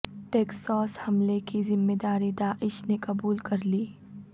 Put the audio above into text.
Texas حملے کی ذمہ داری داعش نے قبول کرلی